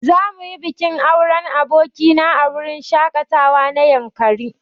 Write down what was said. Za muyi bikin auren aboki na a wurin shaƙatawa na yankari.